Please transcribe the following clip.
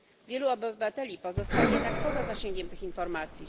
Wielu obywateli pozostaje jednak poza zasięgiem tych informacji.